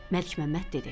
Məlikməmməd dedi: